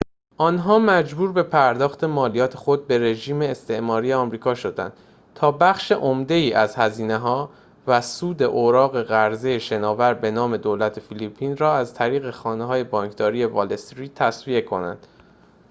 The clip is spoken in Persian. آنها مجبور به پرداخت مالیات خود به رژیم استعماری آمریکا شدند تا بخش عمده‌ای از هزینه‌ها و سود اوراق قرضه شناور به نام دولت فیلیپین را از طریق خانه‌های بانکداری وال استریت تسویه کنند